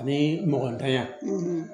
Ani mɔgɔntanya